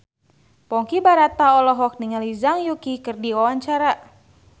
Ponky Brata olohok ningali Zhang Yuqi keur diwawancara